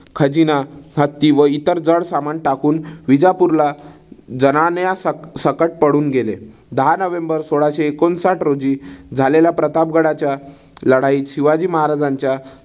खजिना, हत्ती व इतर जड समान टाकून विजापूरला जनान्या सक सकट पळून गेले. दहा नोव्हेंबर सोळाशे एकोणसाठ रोजी झालेल्या प्रतापगडाच्या लढाईत शिवाजी महाराजांच्या